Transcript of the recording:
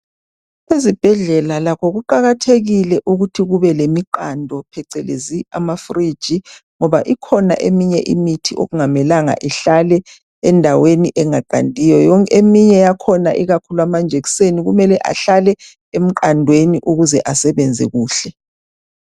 Ezibhedlela lakho kuqakathekile ukuthi lakho kube lemiqando phecelezi ama fridge ngoba ikhona eminye imithi okungamelanga ihlale endaweni engaqandiyo eminye yakhona ikakhulu amanjekiseni kumele ahlale emqandweni ukuze asebenze kuhle.